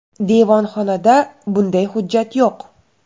Devonxonada bunday hujjat yo‘q.